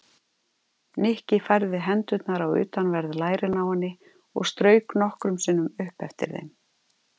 Nikki færði hendurnar á utanverð lærin á henni og strauk nokkrum sinnum upp eftir þeim.